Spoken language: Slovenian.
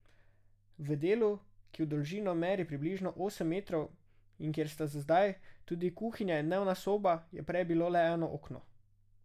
V delu, ki v dolžino meri približno osem metrov in kjer sta zdaj tudi kuhinja in dnevna soba, je prej bilo le eno okno.